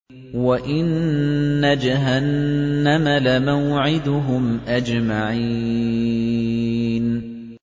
وَإِنَّ جَهَنَّمَ لَمَوْعِدُهُمْ أَجْمَعِينَ